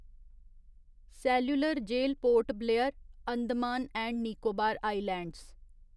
cellular jail Port Blair, Andaman and Nicobar islands